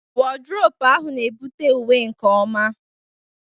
Wọdrobu ahụ na-ebute uwe nke ọma.